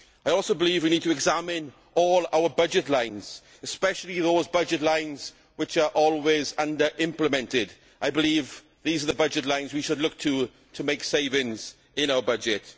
I also believe we need to examine all our budget lines, especially those budget lines which are always under implemented. I believe that these are the budget lines that we should look to, to make savings in our budget.